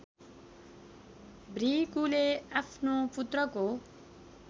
भृगुले आफ्नो पुत्रको